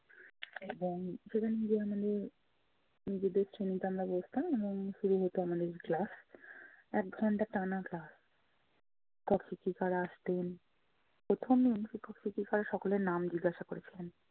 এবং নিজেদের চিনতাম না বসতাম এবং শুরু হতো আমাদের class এক ঘণ্টা টানা class আসতেন। প্রথম দিন শিক্ষক শিক্ষিকারা সকলের নাম জিজ্ঞাসা করেছিলেন।